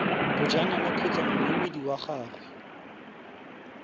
bojanala kgotsa moemedi wa gagwe